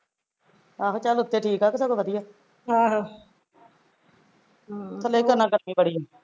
ਆਹੋ ਚੱਲ ਉੱਥੇ ਠੀਕ ਆ ਤੇ ਸਗੋਂ ਵਧੀਆ ਥੱਲੇ ਉਤਰਨਾ ਕਰਕੇ ਬੜੀ